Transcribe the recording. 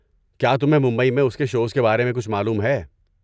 کیا تمہیں ممبئی میں اس کے شوز کے بارے میں کچھ معلوم ہے؟